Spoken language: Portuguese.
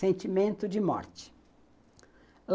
Sentimento de morte.